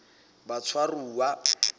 batshwaruwa